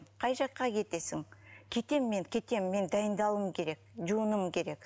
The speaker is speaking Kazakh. қай жаққа кетесің кетем мен кетем мен дайындалуым керек жуынуым керек